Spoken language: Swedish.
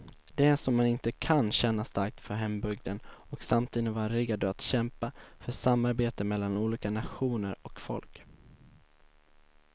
Det är som om man inte kan känna starkt för hembygden och samtidigt vara redo att kämpa för samarbete mellan olika nationer och folk.